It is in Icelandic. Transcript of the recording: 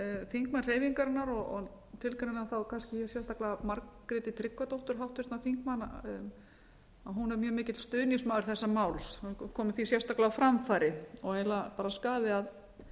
þingmenn hreyfingarinnar og tilgreini þá kannski sérstaklega háttvirtur þingmaður margréti tryggvadóttur hún er mjög mikill stuðningsmaður þessa máls svo ég komi því sérstaklega á framfæri og er eiginlega skaði að